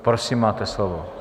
Prosím, máte slovo.